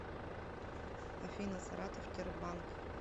афина саратов тербанк